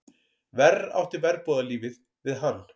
Verr átti verbúðarlífið við hann.